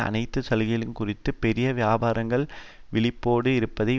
அனைத்து சலுகைகள் குறித்தும் பெரிய வியாபாரங்கள் விழிப்போடு இருப்பதை